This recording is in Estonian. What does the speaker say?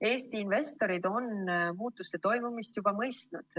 Eesti investorid on muutuste toimumist juba mõistnud.